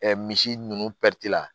Ɛ misi ninnu la